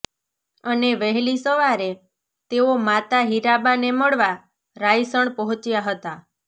અને વહેલી સવારે તેઓ માતા હીરાબાને મળવા રાયસણ પહોંચ્યા હતા